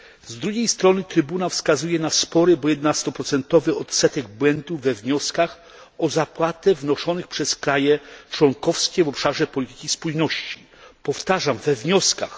Z drugiej strony Trybunał wskazuje na spory, bo 11 odsetek błędów we wnioskach o zapłatę wnoszonych przez kraje członkowskie w obszarze polityki spójności podkreślam we wnioskach.